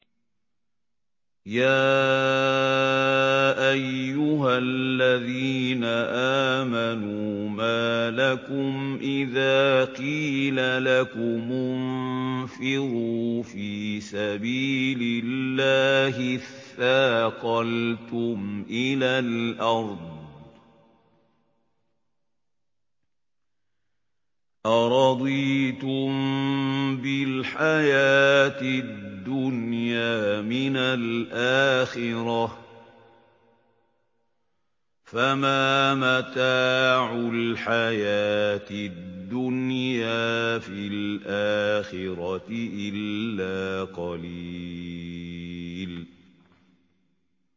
يَا أَيُّهَا الَّذِينَ آمَنُوا مَا لَكُمْ إِذَا قِيلَ لَكُمُ انفِرُوا فِي سَبِيلِ اللَّهِ اثَّاقَلْتُمْ إِلَى الْأَرْضِ ۚ أَرَضِيتُم بِالْحَيَاةِ الدُّنْيَا مِنَ الْآخِرَةِ ۚ فَمَا مَتَاعُ الْحَيَاةِ الدُّنْيَا فِي الْآخِرَةِ إِلَّا قَلِيلٌ